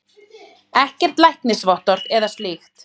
Ekkert læknisvottorð eða slíkt.